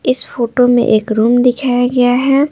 इस फोटो में एक रूम दिखाया गया है।